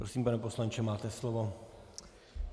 Prosím, pane poslanče, máte slovo.